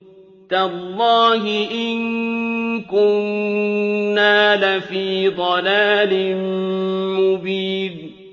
تَاللَّهِ إِن كُنَّا لَفِي ضَلَالٍ مُّبِينٍ